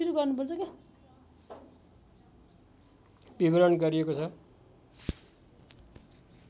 विवरण गरिएको छ